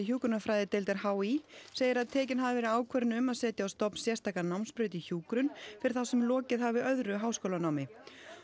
hjúkrunarfræðideildar h í segir að tekin hafi verið ákvörðun um að setja á stofn sérstaka námsbraut í hjúkrun fyrir þá sem lokið hafi öðru háskólanámi